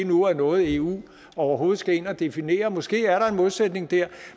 nu er noget eu overhovedet skal ind at definere måske er der en modsætning der